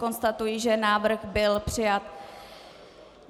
Konstatuji, že návrh byl přijat.